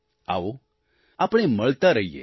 આવો આપણે મળતા રહીએ